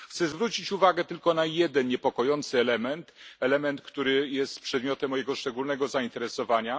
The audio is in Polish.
Chcę zwrócić uwagę tylko na jeden niepokojący element, który jest przedmiotem mojego szczególnego zainteresowania.